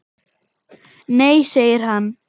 Nei segir hann.